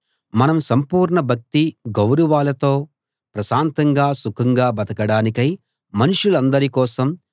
మనం సంపూర్ణ భక్తి గౌరవాలతో ప్రశాంతంగా సుఖంగా బతకడానికై మనుషులందరి కోసం